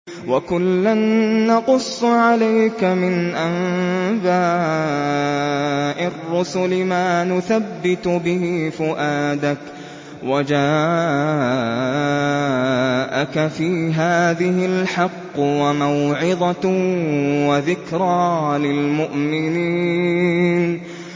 وَكُلًّا نَّقُصُّ عَلَيْكَ مِنْ أَنبَاءِ الرُّسُلِ مَا نُثَبِّتُ بِهِ فُؤَادَكَ ۚ وَجَاءَكَ فِي هَٰذِهِ الْحَقُّ وَمَوْعِظَةٌ وَذِكْرَىٰ لِلْمُؤْمِنِينَ